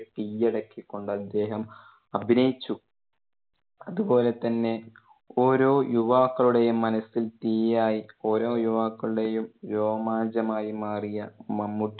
കീഴടക്കി കൊണ്ട് അദ്ദേഹം അഭിനയിച്ചു. അതുപോലെ തന്നെ ഓരോ യുവാക്കളുടെയും മനസ്സിൽ തീയായി ഓരോ യുവാക്കളുടെയും രോമാഞ്ചം ആയി മാറിയ മമ്മൂട്ടി